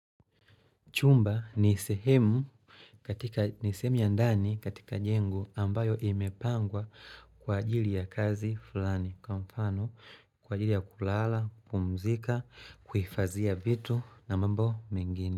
Chumba ni sehemu katika ni sehemu ya ndani katika jengo ambayo imepangwa kwa ajili ya kazi fulani. Kwa mfano, kwa ajili ya kulala, kupumzika, kuhidhia vitu na mambo mengine.